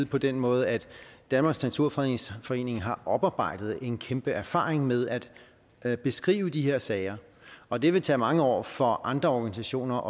på den måde at danmarks naturfredningsforening har oparbejdet en kæmpe erfaring med at at beskrive de her sager og det vil tage mange år for andre organisationer